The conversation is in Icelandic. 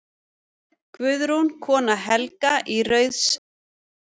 Guðrún, kona Helga í Rauðseyjum.